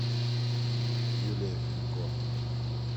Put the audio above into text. юлия фенько